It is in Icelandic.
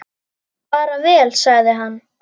Bara vel, sagði hann.